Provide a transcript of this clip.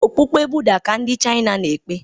Okpukpe Buddha ka ndi China n' ekpe